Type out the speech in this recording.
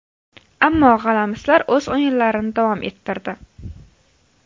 Ammo g‘alamislar o‘z o‘yinlarini davom ettirdi.